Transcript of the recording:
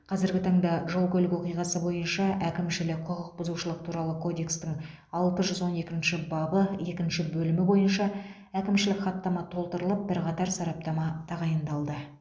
қазіргі таңда жол көлік оқиғасы бойынша әкімшілік құқық бұзушылық туралы кодекстің алты жүз он екінші бабы екінші бөлімі бойынша әкімшілік хаттама толтырылып бірқатар сараптама тағайындалды